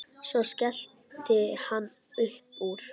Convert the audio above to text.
Svo skellti hann upp úr.